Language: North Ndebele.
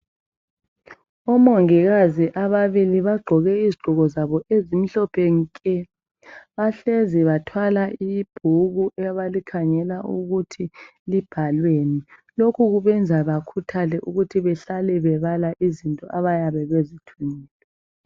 Omongikazi ababili bagqoke izigqoko zabo ezimhlophe nke. Bahlezi bathwala ibhuku abalikhangela ukuthi libhalweni lokhu kubenza bakhuthale ukuthi behlale bebala izinto abayabe bezithunyiwe.